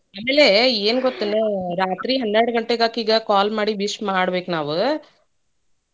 ಆಮೇಲೆ ಏನ್ ಗೊತ್ತೇನು ರಾತ್ರಿ 12 ಗಂಟೆಕ್ ಆಕಿಗ್ phone ಮಾಡಿ call ಮಾಡಿ wish ಮಾಡ್ಬೇಕ್ ನಾವ್.